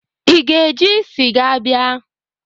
Ị ga-eji sịga bịa?